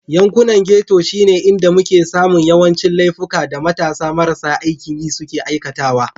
Yankunan Ghetto shine inda muke samun yawancin laifuka da matasa marasa aikin yi suke aikatawa.